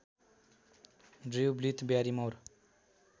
Drew Blyth Barrymore